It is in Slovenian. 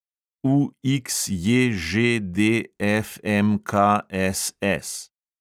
UXJŽDFMKSS